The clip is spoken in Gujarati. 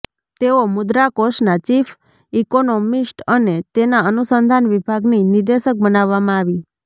તેઓ મુદ્રાકોષના ચીફ ઈંકોનોમીસ્ટ અને એના અનુસંધાન વિભાગની નિદેશક બનાવવામાં આવી